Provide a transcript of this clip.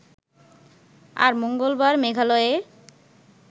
আর মঙ্গলবার মেঘালয়ে